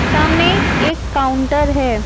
सामने एक काउंटर है।